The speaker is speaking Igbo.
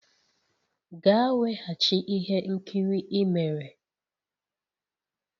Gaa weghachi ihe nkiri i mere!